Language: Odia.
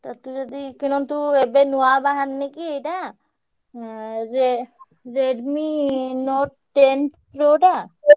ତତେ ଯଦି ତୁ କିଣନ୍ତୁ ଏବେ ନୂଆ ବହରିନି କି ଏଇଟା ଏଁ ରେ Redmi Note Ten Pro ଟା।